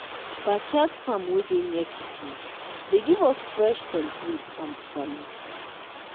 backyard farm wey dey near kitchen dey give us fresh scentleaf and bitter leaf